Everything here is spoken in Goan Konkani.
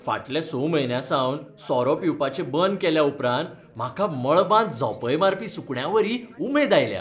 फाटल्या स म्हयन्यासावन सोरो पिवपाचें बंद केल्या उपरांत म्हाका मळबांत झोंपय मारपी सुकण्यावरी उमेद आयल्या.